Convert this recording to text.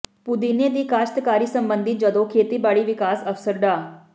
ਪੁਦੀਨੇ ਦੀ ਕਾਸ਼ਤਕਾਰੀ ਸਬੰਧੀ ਜਦੋਂ ਖੇਤੀਬਾੜੀ ਵਿਕਾਸ ਅਫ਼ਸਰ ਡਾ